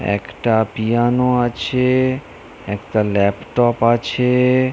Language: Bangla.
একটা পিয়ানো আছে -এ-এ। একটা ল্যাপটপ আছে-এ-এ --